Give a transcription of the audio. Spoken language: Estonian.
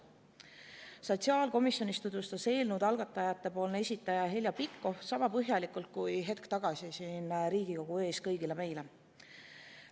Sotsiaalkomisjonis tutvustas eelnõu algatajate esindaja Heljo Pikhof sama põhjalikult kui hetk tagasi siin Riigikogu ees kõigile meile.